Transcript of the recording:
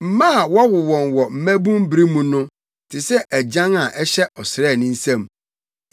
Mma a wɔwo wɔn mmabun bere mu no te sɛ agyan a ɛhyɛ ɔsraani nsam.